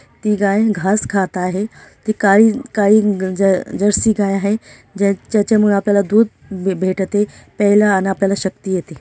ती गाय घास खात आहे ती काही काही-- जर्सी गाय आहे ज्याच्या ज्याच्यामुळे आपल्याला दूध भेटते प्यायला आपल्याला अन शक्ति येते.